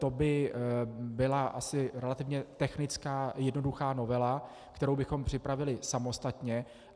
To by byla asi relativně technická jednoduchá novela, kterou bychom připravili samostatně.